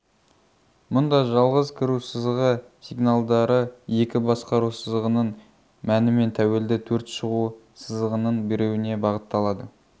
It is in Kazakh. мұнда жалғыз кіру сызығы сигналдары екі басқару сызығының мәнінен тәуелді төрт шығу сызығының біреуіне бағытталады